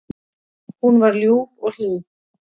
Hún var ljúf og hlý.